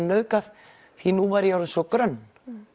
nauðgað því nú væri ég orðin svo grönn